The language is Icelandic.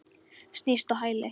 Snýst á hæli.